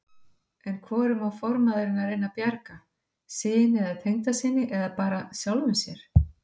En hvorum á formaðurinn að reyna að bjarga, syni eða tengdasyni, eða bara sjálfum sér?